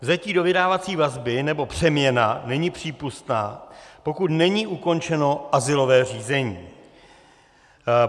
Vzetí do vydávací vazby nebo přeměna není přípustná, pokud není ukončeno azylové řízení.